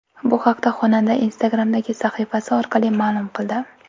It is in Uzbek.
Bu haqda xonanda Instagram’dagi sahifasi orqali ma’lum qildi.